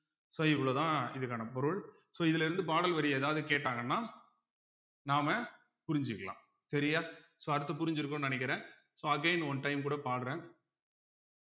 so இவ்ளோதான் இதுக்கான பொருள் so இதுல இருந்து பாடல் வரி எதாவது கேட்டாங்கன்னா நாம புரிஞ்சுக்கலாம் சரியா so அடுத்து புரிஞ்சிருக்கும்ன்னு நினைக்கிறேன் so again one time கூட பாடுறேன்